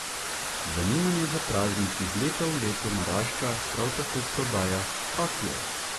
Zanimanje za praznik iz leta v leto narašča, prav tako prodaja kakijev.